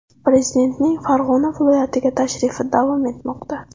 Prezidentning Farg‘ona viloyatiga tashrifi davom etmoqda.